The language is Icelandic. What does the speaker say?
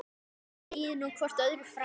Segið nú hvort öðru frá.